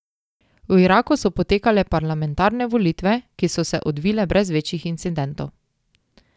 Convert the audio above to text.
V Iraku so potekale parlamentarne volitve, ki so se odvile brez večjih incidentov.